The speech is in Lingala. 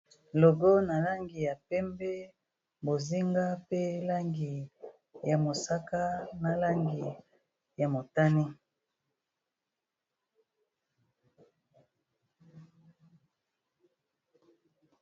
ogo na langi ya pembe bozinga pe langi ya mosaka na langi ya motani.